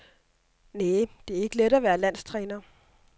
Næ, det er ikke let at være landstræner.